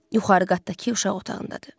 Yuxarı qatdakı uşaq otağındadır.